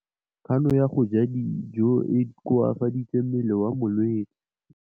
Kganô ya go ja dijo e koafaditse mmele wa molwetse.